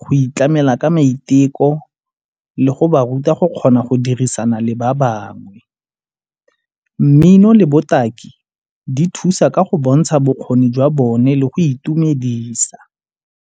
go itlamela ka maiteko le go ba ruta go kgona go dirisana le ba bangwe. Mmino le botaki di thusa ka go bontsha bokgoni jwa bone le go itumedisa.